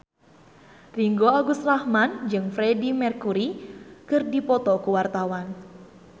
Ringgo Agus Rahman jeung Freedie Mercury keur dipoto ku wartawan